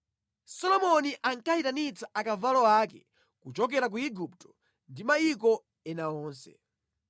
Solomoni ankayitanitsa akavalo ake kuchokera ku Igupto ndi mayiko ena onse.